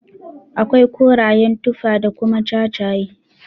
Akwai korayen tufa da kuma jajaye.